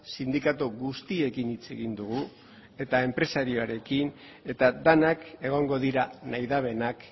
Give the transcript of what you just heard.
sindikatu guztiekin hitz egin dugu eta enpresarioarekin eta denak egongo dira nahi dutenak